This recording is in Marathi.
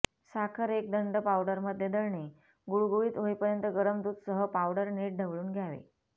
साखर एक दंड पावडर मध्ये दळणे गुळगुळीत होईपर्यंत गरम दूध सह पावडर नीट ढवळून घ्यावे